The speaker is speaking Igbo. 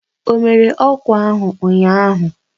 O mere ọkwa ahụ ụnyahụ?